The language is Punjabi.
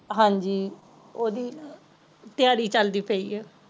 ਹਾਂਜੀ ਓਹਦੀ ਤਿਆਰੀ ਚਲਦੀ ਪਯੀ ਏ